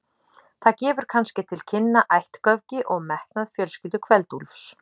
Það gefur kannski til kynna ættgöfgi og metnað fjölskyldu Kveld-Úlfs.